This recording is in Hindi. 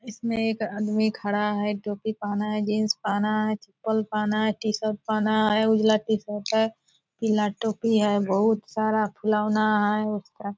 इसमें एक आदमी खड़ा है टोपी पहना है जीन्स पहना है चप्पल पहना है टी-शर्ट पहना है उजला टी-शर्ट है पीला टोपी है बहुत सारा खिलौना है --